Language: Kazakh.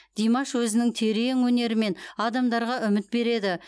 димаш өзінің терең өнерімен адамдарға үміт береді